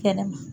Kɛnɛma